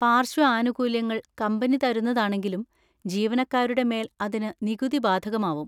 പാര്‍ശ്വ ആനുകൂല്യങ്ങൾ കമ്പനി തരുന്നതാണെങ്കിലും ജീവനക്കാരുടെ മേൽ അതിന് നികുതി ബാധകമാവും.